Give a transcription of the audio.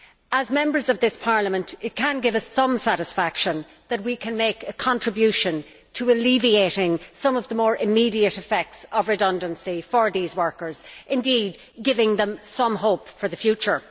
As Members of this Parliament, it can give us some satisfaction that we can make a contribution to alleviating some of the more immediate effects of redundancy for these workers, indeed giving them some hope for the future.